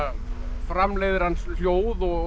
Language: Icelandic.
framleiðir hann hljóð og